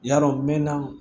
Yarɔ mɛnɛ